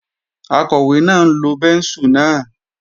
Akọ̀wé náà ń lo bẹ́ńsù náà